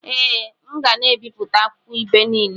Ee, m ga na-ebipụta akwukwo ibe niile.